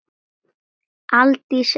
Aldís Eir.